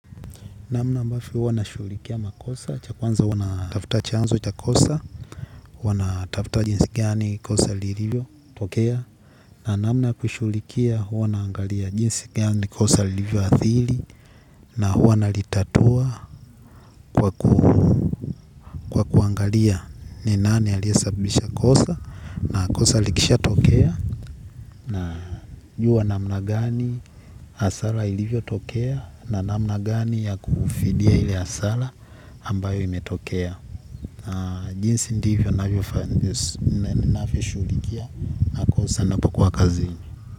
Namna ambavyo huwa nashughulikia makosa cha kwanza huwa na tafuta chanzo cha kosa huwa na tafuta jinsi gani kosa lilivyotokea na namna ya kuishughulikia huwa naangalia jinsi gani kosa lilivyoathiri na huwa nalitatua kwa kuangalia ni nani aliyesababisha kosa na kosa likishatokea na juwa namna gani hasara ilivyotokea na namna gani ya kufidia ili hasara ambayo imetokea. Jinsi ndivyo ninavyoshughulikia makosa napokuwa kazini.